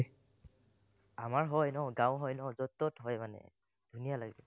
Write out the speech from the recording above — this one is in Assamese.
আমাৰ হয় ন, গাওঁ হয় ন, যত-তত হয় মানে, ধুনীয়া লাগে।